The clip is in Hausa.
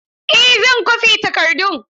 Eh zan kwafi takardun.